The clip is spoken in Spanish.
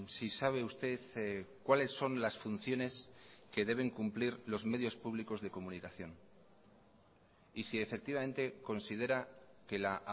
si sabe usted cuáles son las funciones que deben cumplir los medios públicos de comunicación y si efectivamente considera que la